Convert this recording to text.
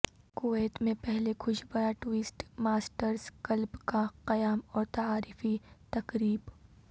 Kuwait میں پہلے خوش بیان ٹوسٹ ماسٹرزکلب کا قیام اور تعارفی تقریب